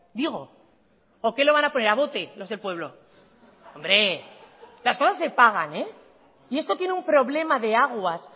digo o que lo van a poner a bote los del pueblo hombre las cosas se pagan y esto tiene un problema de aguas